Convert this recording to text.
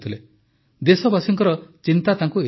ଦେଶବାସୀଙ୍କର ଏତେ ଚିନ୍ତା ତାଙ୍କୁ ଥିଲା